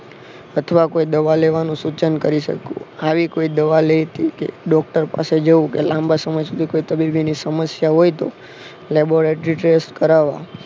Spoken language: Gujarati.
અથવા કોઈ દવા લેવાનું સૂચન કરી શકું આવી કોઈ દવા લેતી કે ડોક્ટર પાસે જવું કે લાંબા સમય સુધી કોઈ તબીબી ની સમસ્યા હોય તો લેબોરેટરી ટેસ્ટ કરવા